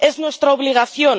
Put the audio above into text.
Es nuestra obligación.